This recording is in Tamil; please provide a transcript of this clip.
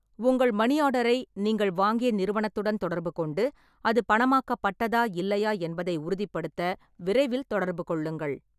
உங்கள் மணி ஆர்டரை நீங்கள் வாங்கிய நிறுவனத்துடன் தொடர்பு கொண்டு, அது பணமாக்கப்பட்டதா இல்லையா என்பதை உறுதிப்படுத்த விரைவில் தொடர்பு கொள்ளுங்கள்.